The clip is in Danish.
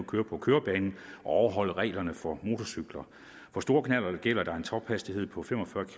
køre på kørebanen og overholde reglerne for motorcykler for store knallerter gælder der en tophastighed på fem og fyrre